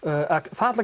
það